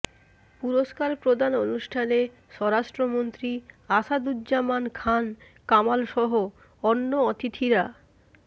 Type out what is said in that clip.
পুরস্কার প্রদান অনুষ্ঠানে স্বরাষ্ট্রমন্ত্রী আসাদুজ্জামান খান কামালসহ অন্য অতিথিরা